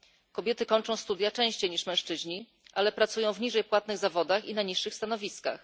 Kobiety kończą studia częściej niż mężczyźni, ale pracują w niżej płatnych zawodach i na niższych stanowiskach.